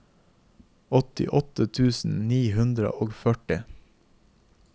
åttiåtte tusen ni hundre og førti